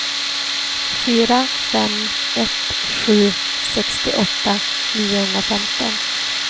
fyra fem ett sju sextioåtta niohundrafemton